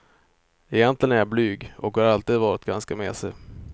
Egentligen är jag blyg, och har alltid varit ganska mesig.